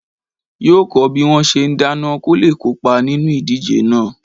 Yóò kọ́ bí wọ́n ṣe ń dáná kóle kópa nínú ìdíje náà